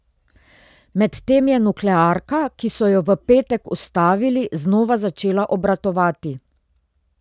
Medtem je nuklearka, ki so jo v petek ustavili, znova začela obratovati.